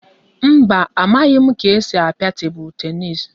Mba, amaghị m ka esi a pịa tebụl tenis